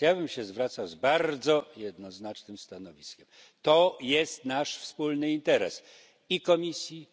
Ja bym się zwracał z bardzo jednoznacznym stanowiskiem to jest nasz wspólny interes i Komisji,